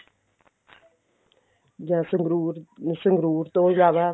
ਜਦ ਸੰਗਰੂਰ ਸੰਗਰੂਰ ਤੋਂ ਜ਼ਿਆਦਾ